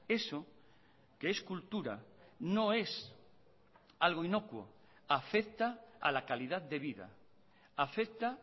eso que es cultura no es algo inocuo afecta a la calidad de vida afecta